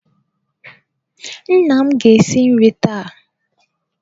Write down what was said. Nna m ga-esi nri taa.